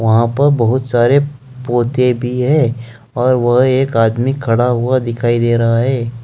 वहां पर बहुत सारे पौधे भी हैं और वह एक आदमी खड़ा हुआ दिखाई दे रहा है।